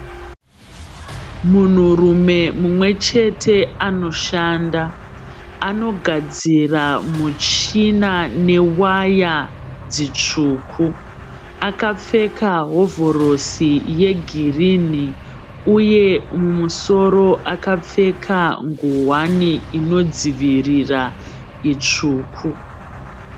Munhurume mumwe chete anoshanda. Anogadzira muchina newaya dzitsvuku. Akapfeka hovhorosi yegirini uye mumusoro akapfeka nguwani inodzivirira itsvuku.